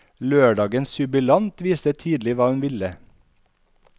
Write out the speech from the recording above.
Lørdagens jubilant visste tidlig hva hun ville.